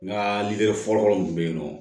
N ka lide fɔlɔfɔlɔ mun bɛ yen nɔ